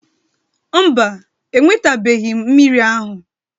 Mba, enwetabeghị m mmiri ahụ